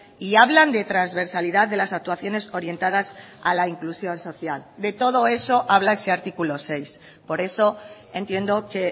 y hablan de transversalidad de las actuaciones orientadas a la inclusión social de todo eso habla ese artículo seis por eso entiendo que